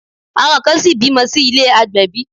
Àwọn kan ṣìí bímọ sí ilé àgbẹ̀bí.